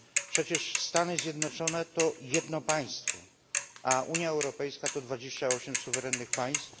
Przecież Stany Zjednoczone to jedno państwo, a Unia Europejska to dwadzieścia osiem suwerennych państw.